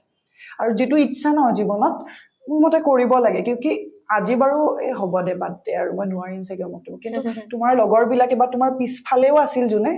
আৰু যিটো ইচ্ছা ন জীৱনত মোৰ মতে কৰিব লাগে because এহ হব দে বাদ দে আৰু মই নোৱাৰিম ছাগে অমুক-তমুক কিন্তু তোমাৰ লগৰবিলাকে বা তোমাৰ পিছফালেও আছিল যোনে